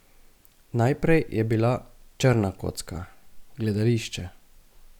Najprej je bila črna kocka, gledališče.